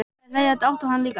Þær hlæja dátt og hann líka.